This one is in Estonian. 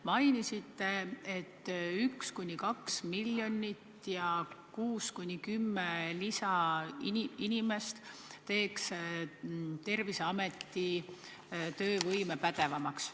Mainisite, et 1–2 miljonit eurot ja 6–10 lisainimest teeks Terviseameti töövõime paremaks.